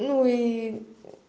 ну и